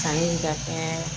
Kanni ka kɛ